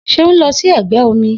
Seun lọ sí ẹgbẹ́ omi